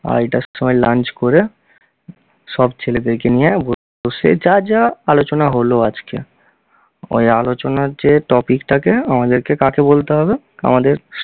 আড়াইটার সময় lunch ক'রে সব ছেলেদেরকে নিয়ে বসে যা যা আলোচনা হলো আজকে ওই আলোচনার যে topic টাকে আমাদেরকে কাকে বলতে হবে? আমাদের